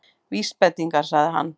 Vísbendingar- sagði hann.